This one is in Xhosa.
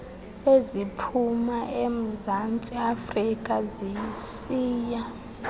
eziphuma emzantsiafrika zisiya